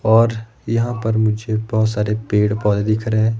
और यहां पर मुझे बहुत सारे पेड़ पौधे दिख रहे हैं।